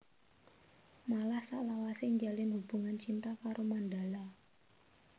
Malah salawasé njalin hubungan cinta karo Mandala